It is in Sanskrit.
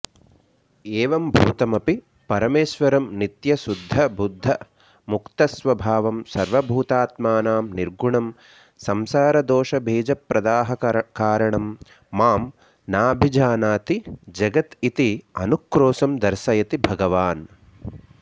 एवम्भूतमपि परमेश्वरं नित्यशुद्धबुद्धमुक्तस्वभावं सर्वभूतात्मानं निर्गुणं संसारदोषबीजप्रदाहकारणं मां नाभिजानाति जगत् इति अनुक्रोशं दर्शयति भगवान्